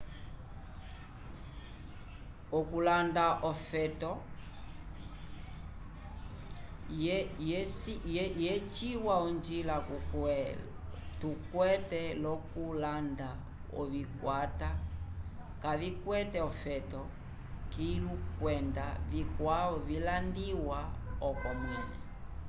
okulanda olofeto vyeciwa onjila tukwete lyokulanda ovikwata kavikwete ofeto kilu kwenda vikwavo vilandiwa oko mwẽle